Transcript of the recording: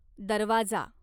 दरवाजा